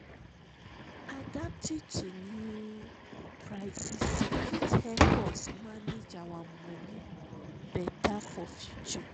adapting to new prices fit help us manage our money better for future.